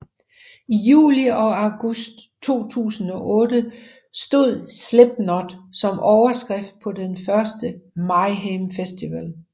I juli og august 2008 stod Slipknot som overskrifter på den første Mayhem Festival